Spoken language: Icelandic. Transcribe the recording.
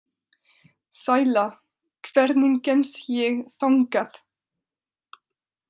Sæla, hvernig kemst ég þangað?